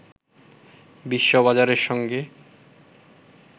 বিশ্ববাজারের সঙ্গে